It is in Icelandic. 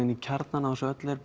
í kjarnanum á þessu öllu er